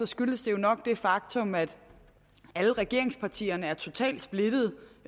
skyldes det jo nok det faktum at alle regeringspartierne er totalt splittet